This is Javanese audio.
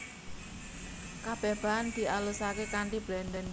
Kabeh bahan dialusake kanthi blender